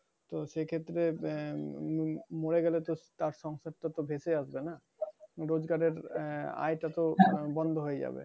তো সেক্ষেত্রে আহ মরে গেলে তো তার সম্পদ তো বেচে আসবে না? রোজগারের আয়টা তো আহ বন্ধ হয়ে যাবে।